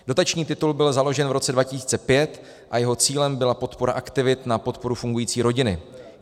Dotační titul byl založen v roce 2005 a jeho cílem byla podpora aktivit na podporu fungující rodiny.